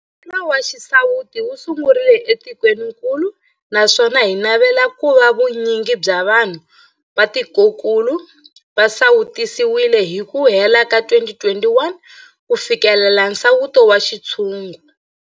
Mphakelo wa xisawutisi wu sungurile etikwenikulu naswona hi navela ku va vu nyingi bya vanhu va tikokulu va sawutisiwile hi ku hela ka 2021 ku fikelela nsawuto wa xintshungu.